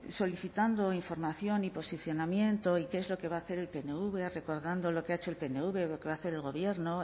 solicitando información y posicionamiento y qué es lo que va a hacer el pnv recordando lo que ha hecho el pnv lo que va a hacer el gobierno